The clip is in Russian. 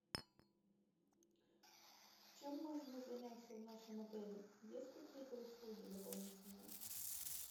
чем можно заняться в нашем отеле есть какие то услуги дополнительные